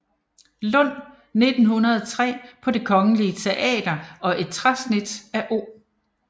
Lund 1903 på Det Kongelige Teater og et træsnit af O